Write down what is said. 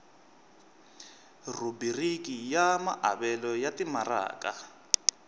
rhubiriki ya maavelo ya timaraka